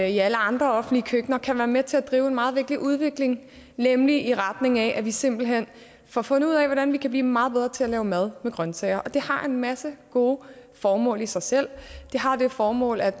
i alle andre offentlige køkkener kan være med til at drive en meget vigtig udvikling nemlig i retning af at vi simpelt hen får fundet ud af hvordan vi kan blive meget bedre til at lave mad med grønsager og det har en masse gode formål i sig selv det har det formål at